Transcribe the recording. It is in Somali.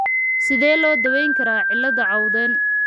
Sidee loo daweyn karaa cilada Cowden ?